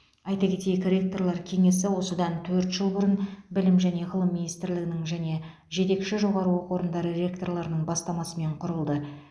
айта кетейік ректорлар кеңесі осыдан төрт жыл бұрын білім және ғылым министрлігінің және жетекші жоғары оқу орындары ректорларының бастамасымен құрылды